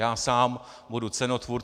Já sám budu cenotvůrce.